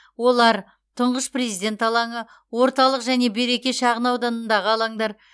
олар тұңғыш президент алаңы орталық және береке шағын ауданындағы алаңдар